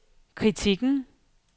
kritikken